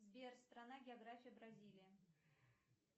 сбер страна география бразилия